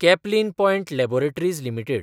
Caplin Point Laboratories limited